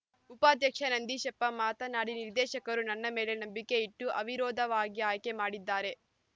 ಉಪಾಧ್ಯಕ್ಷ ನಂದೀಶಪ್ಪ ಮಾತನಾಡಿ ನಿರ್ದೇಶಕರು ನನ್ನ ಮೇಲೆ ನಂಬಿಕೆ ಇಟ್ಟು ಅವಿರೋಧವಾಗಿ ಆಯ್ಕೆ ಮಾಡಿದ್ದಾರೆ